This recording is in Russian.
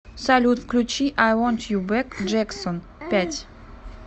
салют включи ай вонт ю бэк джексон пять